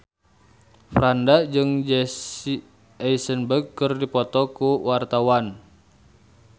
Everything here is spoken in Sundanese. Franda jeung Jesse Eisenberg keur dipoto ku wartawan